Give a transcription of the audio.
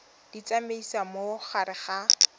di tsamaisa mo gare ga